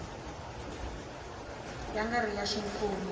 ya nga ri ya ximfumo